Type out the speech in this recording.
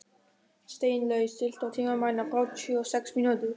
Steinlaug, stilltu tímamælinn á þrjátíu og sex mínútur.